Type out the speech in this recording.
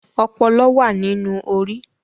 Ọpọlọ wa nínú Orí.